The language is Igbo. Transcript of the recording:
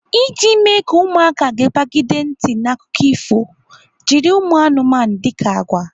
Iji mee ka ụmụaka gepagide ntị n'akụkọ ifo, jiri ụmụanụmanụ dika agwa.